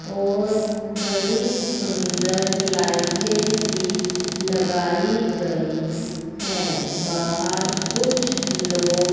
और बड़ी सुंदर लाइटें भी लगाई गई हैं बाहर कुछ लोग--